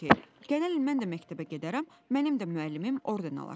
Nə olsun ki, gələn il mən də məktəbə gedərəm, mənim də müəllimim orden alar.